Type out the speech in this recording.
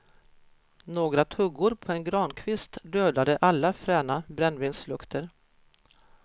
Några tuggor på en grankvist dödade alla fräna brännvinslukter.